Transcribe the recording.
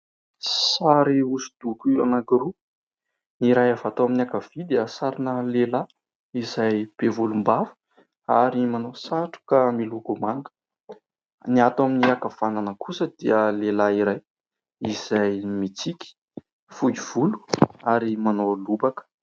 Sary hosodoko anankiroa, ny iray avy ato amin'ny ankavia dia sarina lehilahy izay be volom-bava ary manao satroka miloko manga. Ny ato amin'ny ankavanana kosa dia lehilahy iray izay mitsiky, fohy volo ary manao lobaka.